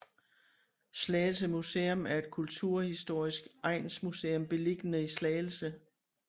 Slagelse Museum er et kulturhistorisk egnsmuseum beliggende i Slagelse